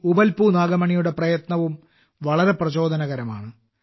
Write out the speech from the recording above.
ഉപ്പൽപു നാഗമണിയുടെ പ്രയത്നവും വളരെ പ്രചോദനകരമാണ്